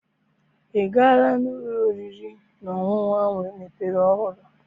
I gaala n'ụlọ oriri na ọṅụṅụ ahụ emepere ọhụrụ?